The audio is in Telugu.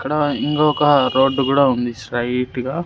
ఇక్కడ ఇంగొక రోడ్డు గూడా ఉంది స్ట్రైట్ గా.